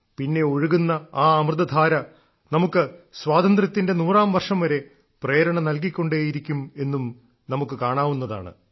പിന്നെ ഒഴുകുന്ന ആ അമൃതധാര നമുക്ക് സ്വാതന്ത്ര്യത്തിന്റെ നൂറാം വർഷം വരെ പ്രേരണ നൽകിക്കൊണ്ടേയിരിക്കും എന്നും നമുക്ക് കാണാവുന്നതാണ്